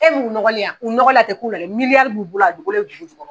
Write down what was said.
E m'u nɔgɔlen wa u nɔgɔlen a tɛ k'u la dɛ miliyari b'u bolo a dogolen bɛ dugu jukɔrɔ.